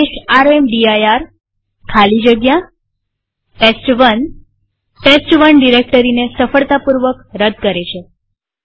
આદેશ રામદીર ખાલી જગ્યા ટેસ્ટ1 ટેસ્ટ1 ડિરેક્ટરીને સફળતાપૂર્વક રદ કરે છે